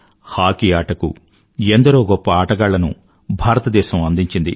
hockey ఆటకు ఎందరో గొప్ప ఆటగాళ్ళను భారతదేశం అందించింది